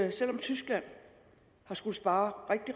at selv om tyskland har skullet spare